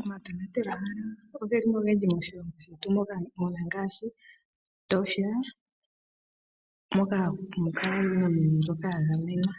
Omatonatelwahala oge li mo ogendji moshilongo shetu mu na ngaashi Etosha moka hamu kala iinamwenyo mbyoka ya gamenwa,